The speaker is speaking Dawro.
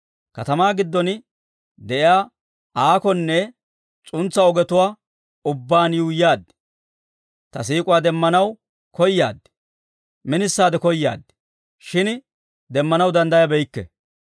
Katamaa giddon de'iyaa aakonne s'untsa ogetuwaa ubbaan yuuyyaad; ta siik'uwaa demmanaw koyaad; minisaade koyaad; shin demmanaw danddayabeykke.